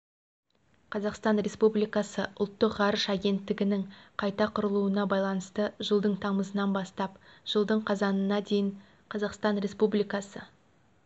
қазақстан республикасы ұлттық ғарыш агенттігінің қайта құрылуына байланысты жылдың тамызынан бастап жылдың қазанына дейін қазақстан республикасы